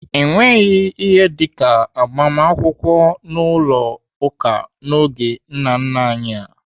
Enweghị ihe dịka agbamakwụkwọ n'ụlọ ụka n'oge nna nna anyị.